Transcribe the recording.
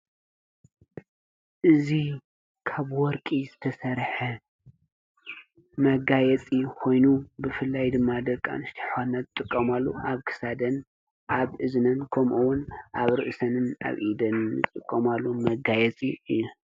እዙ ካብ ወርቂ ዘተሠርሐ መጋየፂ ኾይኑ፤ ብፍላይ ድማ ደርቃን ሽተሖናት ጥቆማሉ ኣብክሳደን ኣብ እዝነን ኮምውን ኣብ ርዕሰንን ኣብኢደን ጽቆማሉ መጋየፂ እዩ።